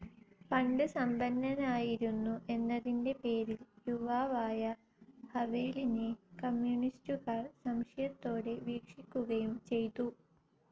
പണ്ട് സമ്പന്നനായിരുന്നു എന്നതിന്റെ പേരിൽ യുവാവായ ഹവേലിനെ കമ്യൂണിസ്റ്റുകാർ സംശയത്തോടെ വീക്ഷിക്കുകയും ചെയ്തു.